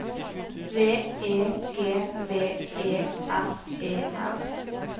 V E G V E S E N